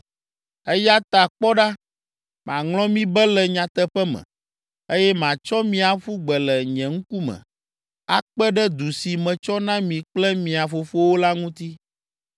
Eya ta kpɔ ɖa, maŋlɔ mi be le nyateƒe me, eye matsɔ mi aƒu gbe le nye ŋkume akpe ɖe du si metsɔ na mi kple mia fofowo la ŋuti.